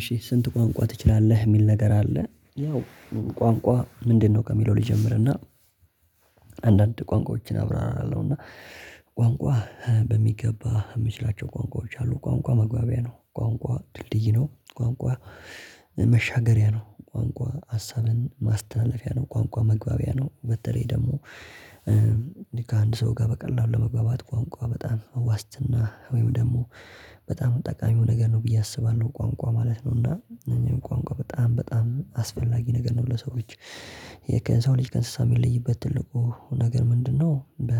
እሺ ስንት ቋንቋ ትችላለህ የሚል ነገር አለ። ያው ቋንቋ ምንድነው ከሚለው ልጀምርና። አንዳንድ ቋንቋዎችን አብራራለሁ እና ቋንቋ በሚገባ የምችላቸው ቋንቋዎች አሉ። ቋንቋ መግባቢያ ነው ቋንቋ ድልድይ ነው ቋንቋ መሻገሪያ ነው ቋንቋ ሀሳብን ማስተላለፊያ ነው ቋንቋ መግባቢያ ነው። በተለይ ደግሞ ከአንድ ሰው ጋር በቀላሉ ለመግባባት ቋንቋ በጣም ዋስትና ወይም ደግሞ በጣም ጠቃሚው ነገር ነው ብዬ አስባለሁ። ቋንቋ ማለት ነው። እና ቋንቋ በጣም በጣም አስፈላጊ ነገር ነው። ለሰዎች የሰው ልጅ ከእንስሳ የሚለይበት ትልቁ ነገር ምንድነው? በ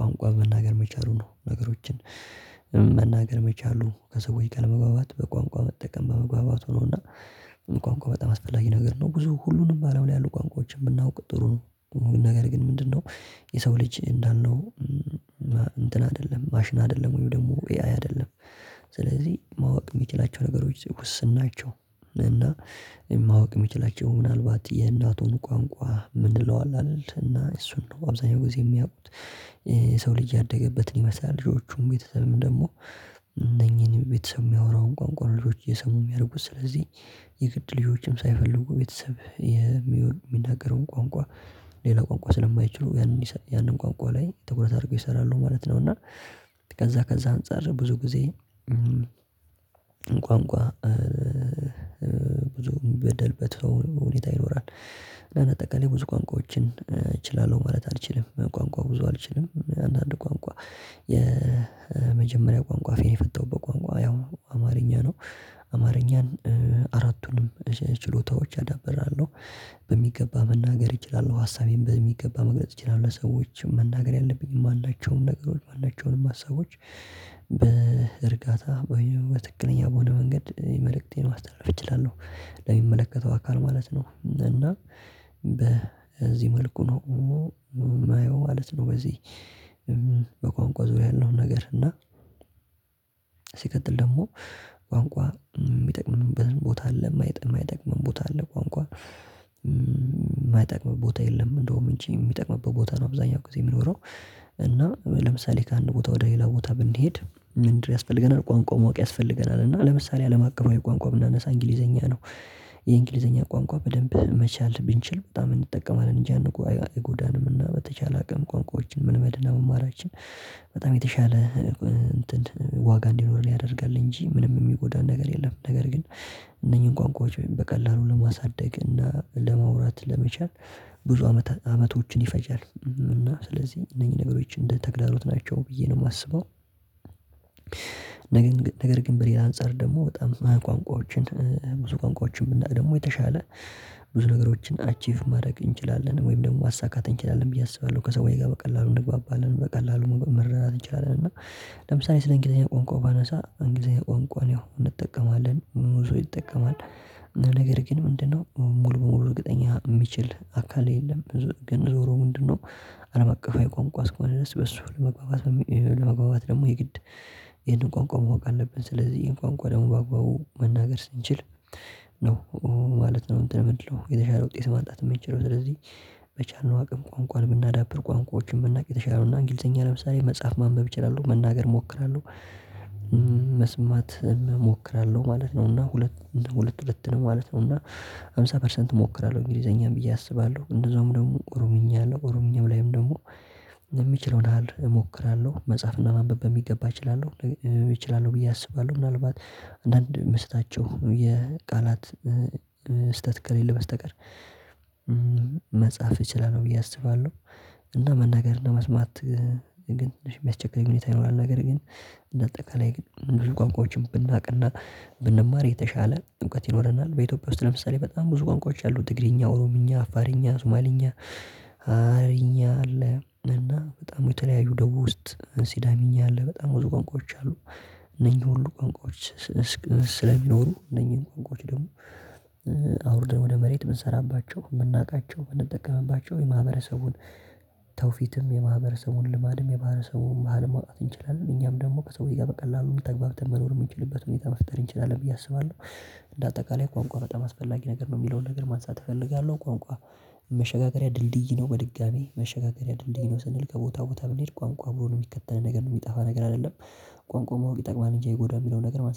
ቋንቋ መናገር መቻሉ ነው። ነገሮችን መናገር መቻሉ ከሰዎች ጋር ለመግባባት በቋንቋ መጠቀም በመግባባቱ ነው። እና ቋንቋ በጣም አስፈላጊ ነገር ነው። ብዙ ሁሉንም አለም ላይ ያሉ ቋንቋዎችን ብናውቅ ጥሩ ነው። ነገር ግን ምንድነው የሰው ልጅ እንዳልነው እንትን አይደለም ማሽን አይደለም ወይም ደግሞ ኤአይ አይደለም። ስለዚህ ማወቅ የሚችላቸው ነገሮች ውስን ናቸው። እና ማወቅ የሚችላቸው ምናልባት የእናቱን ቋንቋ የምንለው አለ አይደል እና እሱን ነው አብዛኛውን ጊዜ የሚያውቁት። የሰው ልጅ ያደገበትን ይመስላል። ልጆቹም ቤተሰብም ደግሞ እነኚህን ቤተሰብ የሚያወራውን ቋንቋ ልጆች እየሰሙ የሚያድጉት ስለዚህ። የግድ ልጆችም ሳይፈልጉ ቤተሰብ የሚናገረውን ቋንቋ ሌላ ቋንቋ ስለማይችሉ ያንን ቋንቋ ላይ ትኩረት አድርገው ይሰራሉ ማለት ነው። እና ከዛ ከዛ አንፃር ብዙ ጊዜ ቋንቋ ብዙም በደልበት ሁኔታ ይኖራል። እና ባጠቃላይ ብዙ ቋንቋዎችን እችላለሁ ማለት አልችልም። ቋንቋ ብዙ አልችልም አንዳንድ ቋንቋ የመጀመሪያ ቋንቋ አፌን የፈታውበት ቋንቋ ያው አማርኛ ነው። አማርኛን አራቱንም ችሎታዎች አዳብራለሁ በሚገባ መናገር እችላለሁ ሀሳቤን በሚገባ መግለጽ እችላለሁ ለሰዎችም መናገር ያለብኝ ማናቸውን ነገሮች ማናቸውንም ሀሳቦች። በእርጋታ በትክክለኛ በሆነ መንገድ መልእክቴን ማስተላለፍ እችላለሁ ለሚመለከተው አካል ማለት ነው። እና በዚህ መልኩ ነው የማየው ማለት ነው። በዚህ በቋንቋ ዙሪያ ያለው ነገር እና ሲቀጥል ደግሞ ቋንቋ የሚጠቅምበት ቦታ አለ የማይጠቅመን ቦታ አለ ቋንቋ የማይጠቅም ቦታ የለም። እንደውም እንጂ የሚጠቅምበት ቦታ ነው አብዛኛው ጊዜ የሚኖረው። እና ለምሳሌ ከአንድ ቦታ ወደ ሌላ ቦታ ብንሄድ ምን ያስፈልገናል? ቋንቋ ማወቅ ያስፈልገናል። እና ለምሳሌ አለም አቀፋዊ ቋንቋ ብናነሳ እንግሊዘኛ ነው። የእንግሊዘኛ ቋንቋ በደንብ መቻል ብንችል በጣም እንጠቀማለን እንጂ እይጎዳንም። እና በተቻለ አቅም ቋንቋዎችን መልመድ እና መማራችን በጣም የተሻለ። እንትን ዋጋ እንዲኖር ያደርጋል እንጂ ምንም የሚጎዳን ነገር የለም። ነገር ግን እነኚህን ቋንቋዎች በቀላሉ ለማሳደግ እና ለማውራት ለመቻል ብዙ አመት አመቶችን ይፈጃል እና ስለዚህ እነኚህ ነገሮች እንደ ተግዳሮት ናቸው ብዬ ነው የማስበው። ነገር ግን በሌላ አንፃር ደግሞ በጣም ቋንቋዎችን ብዙ ቋንቋዎችን ብናውቅ ደግሞ የተሻለ ብዙ ነገሮችን አቺቭ ማድረግ እንችላለን ወይም ደግሞ ማሳካት እንችላለን ብዬ አስባለሁ። ከሰዎች ጋር በቀላሉ እንግባባለን በቀላሉ መረዳት እንችላለን። እና ለምሳሌ ስለ እንግሊዘኛ ቋንቋ ባነሳ እንግሊዘኛ ቋንቋን ያው እንጠቀማለን ሙሉ ሰው ይጠቀማል። ነገር ግን ምንድነው? ሙሉ በሙሉ እርግጠኛ የሚችል አካል የለም። ብዙ ግን ዞሮ ምንድነው? አለም አቀፋዊ ቋንቋ እስከሆነ ድረስ በሱ ለመግባባት ለመግባባት ደግሞ የግድ ይሄንን ቋንቋ ማዋቅ አለብን። ስለዚህ ይሄን ቋንቋ ደግሞ በአግባቡ መናገር ስንችል ነው ማለት ነው። እንትን ምንድነው? የተሻለ ውጤት ማምጣት የምንችለው። ስለዚህ በቻልነው አቅም ቋንቋ የምናዳብር ቋንቋዎችን ብናውቅ የተሻለ ነው። እና እንግሊዘኛ ለምሳሌ መጽሐፍ ማንበብ እችላለሁ መናገር እሞክራለሁ። መስማት እሞክራለሁ ማለት ነው እና ሁለት ሁለት ሁለት ነው ማለት ነው። እና ሃምሳ ፐርሰንት እሞክራለሁ እንግሊዘኛም ብዬ አስባለሁ። እንደዛውም ደግሞ ኦሮምኛ አለ ኦሮምኛም ላይም ደግሞ የሚችለውን ያህል እሞክራለሁ መጽሐፍና ማንበብ በሚገባ እችላለሁ። እችላለሁ ብዬ አስባለሁ ምናልባት አንዳንድ የምስታቸው የቃላት ስህተት ከሌለ በስተቀር መጻፍ እችላለሁ ብዬ አስባለሁ። እና መናገር እና መስማት ግን ትንሽ የሚያስቸግረኝ ሁኔታ ይኖራል። ነገር ግን እንደ አጠቃላይ ብዙ ቋንቋዎችን ብናውቅና ብንማር የተሻለ እውቀት ይኖረናል። በኢትዮጵያ ውስጥ ለምሳሌ በጣም ብዙ ቋንቋዎች አሉ ትግርኛ፣ ኦሮምኛ፣ አፋርኛ፣ ሶማልኛ፣ ሃረርኛ አለ እና በጣም የተለያዩ ደቡብ ውስጥ ሲዳምኛ አለ በጣም ብዙ ቋንቋዎች አሉ። እነኚህ ሁሉ ቋንቋዎችስለሚኖሩ እነኚህን ቋንቋዎች ደግሞ አውርደህ ወደ መሬት ብንሰራባቸው የምናውቃቸው የምንጠቀምባቸው የማህበረሰቡን ተውፊትም የማህበረሰቡን ልማድም የማህበረሰቡን ባህል ማውጣት እንችላለን እኛም ደግሞ ከሰዎች ጋር በቀላሉ ተግባብተን መኖር የምንችልበት ሁኔታ መፍጠር እንችላለን ብዬ አስባለሁ። እንደ አጠቃላይ ቋንቋ በጣም አስፈላጊ ነገር ነው የሚለውን ነገር ማንሳት እፈልጋለሁ። ቋንቋ መሸጋገሪያ ድልድይ ነው። በድጋሚ መሸጋገሪያ ድልድይ ነው። ስንል ከቦታ ቦታ ብንሄድ ቋንቋ አብሮን የሚከተለን ነገር ነው። የሚጠፋ ነገር አይደለም። ቋንቋ ማወቅ ይጠቅማል እንጂ አይጎዳም። የሚለውን ነገር ማንሳት